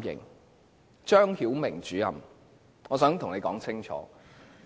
我想對張曉明主任說清楚，